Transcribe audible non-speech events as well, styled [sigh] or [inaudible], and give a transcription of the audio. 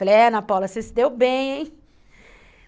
Falei, é, Ana Paula, você se deu bem, hein? [laughs]